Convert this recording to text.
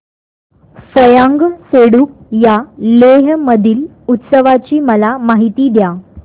फ्यांग सेडुप या लेह मधील उत्सवाची मला माहिती द्या